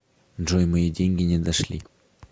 джой мои деньги не дошли